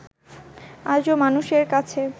আজও মানুষের কাছে